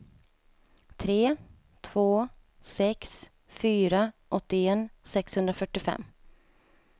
tre två sex fyra åttioett sexhundrafyrtiofem